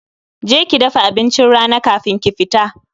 Je ki dafa abincin rana kafin ki fita